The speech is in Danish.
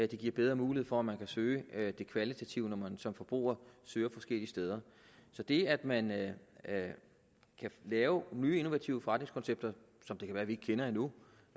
det giver bedre mulighed for at man kan søge det kvalitative når man som forbruger søger forskellige steder så det at man kan lave nye innovative forretningskoncepter som det kan være vi ikke kender endnu